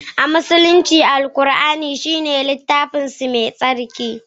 a Musulunci, Alkur'ani shine littafinsu mai tsarki